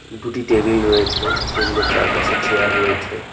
দুটি টেবিল রয়েছে টেবিল এর চারপাশে চেয়ার রয়েছে।